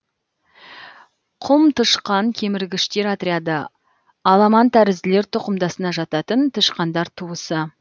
құмтышқан кеміргіштер отряды аламантәрізділер тұқымдасына жататын тышқандар туысы